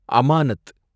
அமானத்